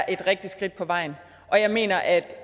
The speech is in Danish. et rigtigt skridt på vejen og jeg mener at